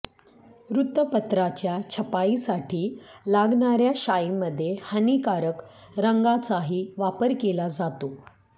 वृत्तपत्राच्या छपाईसाठी लागणाऱ्या शाईमध्ये हानीकारक रंगांचाही वापर केला जातो